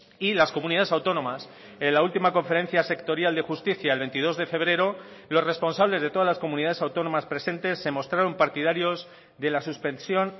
y las comunidades autónomas en la última conferencia sectorial de justicia el veintidós de febrero los responsables de todas las comunidades autónomas presentes se mostraron partidarios de la suspensión